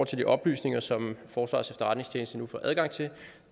til de oplysninger som forsvarets efterretningstjeneste nu får adgang til